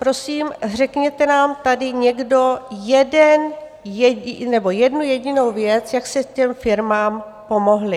Prosím, řekněte nám tady někdo jednu jedinou věc, jak jste těm firmám pomohli.